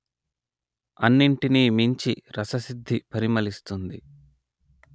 అన్నింటినీ మించి రససిద్ధి పరిమళిస్తుంది